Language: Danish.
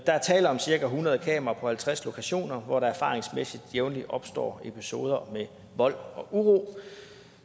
der er tale om cirka hundrede kameraer på halvtreds lokationer hvor der erfaringsmæssigt jævnligt opstår episoder med vold og uro